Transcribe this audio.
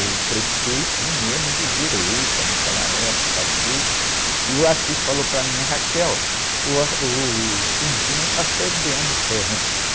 o prefeito mesmo de direita, naquela época tudo, e o falou para mim, uh, o está cedendo terrenos.